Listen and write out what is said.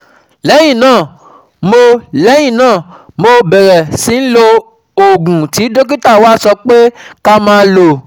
Lẹ́yìn náà, mo Lẹ́yìn náà, mo bẹ̀rẹ̀ sí lo oògùn tí dókítà wa sọ pé ká máa lò